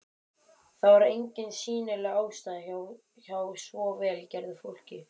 Það var engin sýnileg ástæða hjá svo vel gerðu fólki.